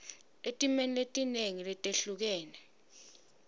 etimeni letinengi letehlukene